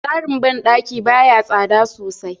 Tsarin bandaki baya tsada sosai.